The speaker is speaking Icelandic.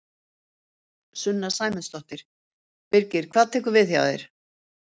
Sunna Sæmundsdóttir: Birgir hvað tekur við hjá þér?